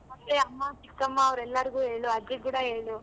A ಅಮ್ಮ ಚಿಕ್ಕಮ್ಮ ಅವ್ರ್ ಎಲ್ಲರಿಗೂ ಅಜ್ಜಿಗ್ ಕೂಡ ಹೇಳು.